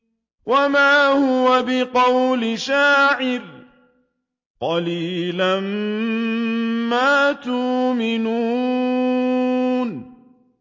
وَمَا هُوَ بِقَوْلِ شَاعِرٍ ۚ قَلِيلًا مَّا تُؤْمِنُونَ